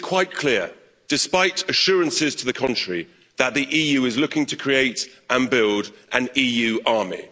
It is quite clear, despite assurances to the contrary, that the EU is looking to create and build an EU army.